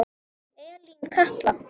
Elín Katla.